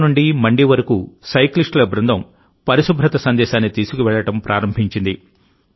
సిమ్లా నుండి మండి వరకు సైక్లిస్టుల బృందం పరిశుభ్రత సందేశాన్ని తీసుకువెళ్ళడం ప్రారంభించింది